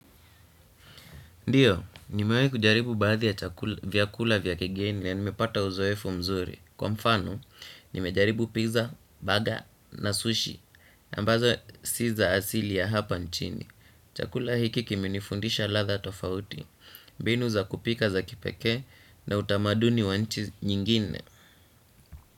Ndio, nimewahi kujaribu baadhi ya chakula, vyakula, vya kigeni ya nimepata uzoefu mzuri. Kwa mfano, nimejaribu pizza, baga na sushi, na ambazo si za asili ya hapa nchini. Chakula hiki kimenifundisha ladha tofauti, binu za kupika za kipeke na utamaduni wa nchi nyingine.